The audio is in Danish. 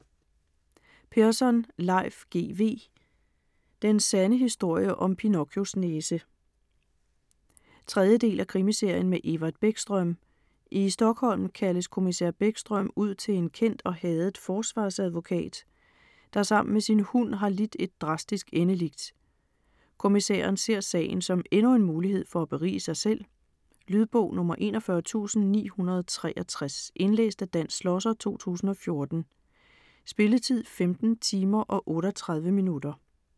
Persson, Leif G. W.: Den sande historie om Pinocchios næse 3. del af krimiserien med Evert Bäckström. I Stockholm kaldes kommissær Bäckström ud til en kendt og hadet forsvarsadvokat, der sammen med sin hund har lidt et drastisk endeligt. Kommissæren ser sagen som endnu en mulighed for at berige sig selv. Lydbog 41963 Indlæst af Dan Schlosser, 2014. Spilletid: 15 timer, 38 minutter.